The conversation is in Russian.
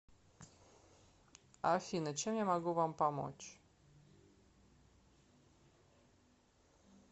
афина чем я могу вам помочь